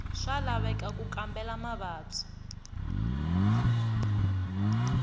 swa laveka ku kambela mavabyi